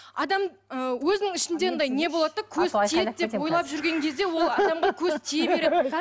адам ы өзінің ішінде анандай не болады да көз тиеді деп ойлап жүрген кезде ол адамға көз тие береді